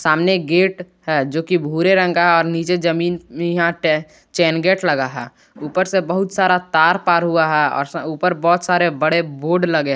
सामने गेट है जोकि भूरे रंग का और नीचे जमीन चेन गेट लगा है ऊपर से बहुत सारा तार पार हुआ है और ऊपर बहुत सारे बड़े बोर्ड लगे हुवे हैं।